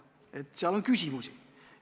Selles võib-olla on küsimus.